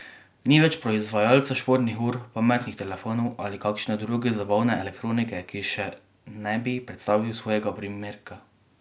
Ni več proizvajalca športnih ur, pametnih telefonov ali kakšne druge zabavne elektronike, ki še ne bi predstavil svojega primerka.